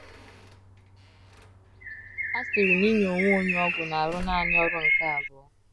A sịrị na inye onwe onye ọgwụ na - arụ naani ọrụ nke abụọ